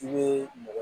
I bɛ mɔgɔ